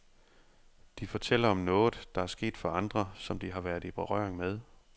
De fortæller om noget, der er sket for andre, som de har været i berøring med.